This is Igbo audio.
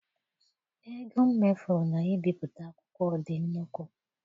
Ego m mefuru na ị bipụta akwụkwọ dị nnukwu.